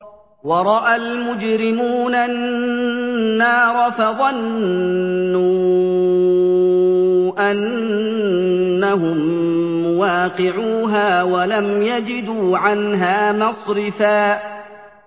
وَرَأَى الْمُجْرِمُونَ النَّارَ فَظَنُّوا أَنَّهُم مُّوَاقِعُوهَا وَلَمْ يَجِدُوا عَنْهَا مَصْرِفًا